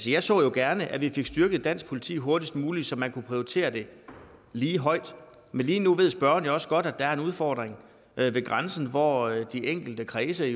jeg så jo gerne at vi fik styrket dansk politi hurtigst muligt så man kunne prioritere det lige højt men lige nu ved spørgeren jo også godt at der er en udfordring ved grænsen hvor de enkelte kredse